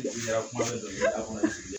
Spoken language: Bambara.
N ka kuma dɔ fɔ